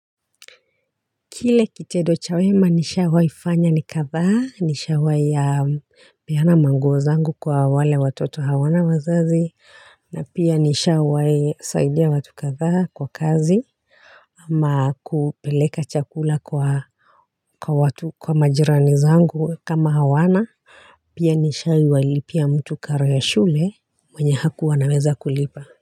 Kile kitedo cha wema nishawaifanya ni katha, nishawaeya peyana manguo zangu kwa wale watoto hawana wazazi, na pia nishawae saidiya watu katha kwa kazi ama kupeleka chakula kwa majirani zangu kama hawana Pia nishawae ilipia mtu karo ya shule mwenye hakuwa anaweza kulipa.